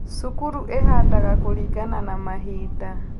Cukuru ĩhandaga kũlingana na mahinda